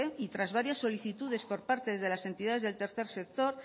y tras varias solicitudes por parte de las entidades del tercer sector